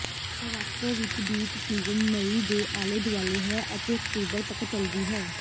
Morocco ਵਿੱਚ beach season ਮਈ ਦੇ ਆਲੇ ਦੁਆਲੇ ਹੈ ਅਤੇ ਅਕਤੂਬਰ ਤੱਕ ਚਲਦੀ ਹੈ